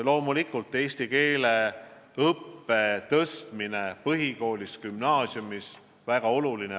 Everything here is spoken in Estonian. Loomulikult on eesti keele õppe tõhustamine põhikoolis ja gümnaasiumis väga oluline.